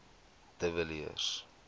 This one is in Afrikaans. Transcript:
de villiers